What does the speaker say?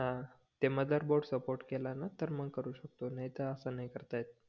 ह ते मदार बोर्ड सपोर्ट केला न तर मग करू शकतो नाही त अस नाही करता येत